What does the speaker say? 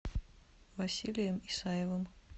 василием исаевым